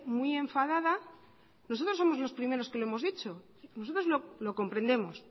muy enfadada nosotros somos los primeros que lo hemos dicho nosotros lo comprendemos